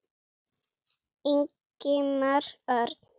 Ingimar Örn.